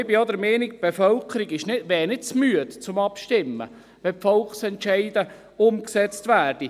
Auch bin ich der Meinung, die Bevölkerung wäre nicht des Abstimmens müde, wenn Volksentscheide denn auch umgesetzt würden.